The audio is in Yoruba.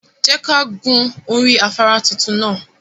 Je ka hun ori afara titun naa